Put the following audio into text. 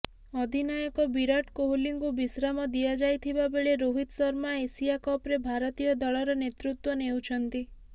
ଅଧିନାୟକ ବିରାଟ କୋହଲିଙ୍କୁ ବିଶ୍ରାମ ଦିଆଯାଇଥିବା ବେଳେ ରୋହିତ ଶର୍ମା ଏସିଆ କପରେ ଭାରତୀୟ ଦଳର ନେତୃତ୍ୱ ନେଉଛନ୍ତି